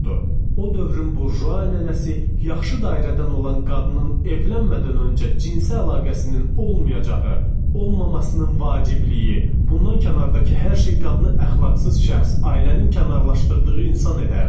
O dövrün burjua nənəsi yaxşı dairədən olan qadının evlənmədən öncə cinsi əlaqəsinin olmayacağı, olmamasının vacibliyi, bundan kənardakı hər şey qadını əxlaqsız şəxs, ailənin kənarlaşdırdığı insan edərdi.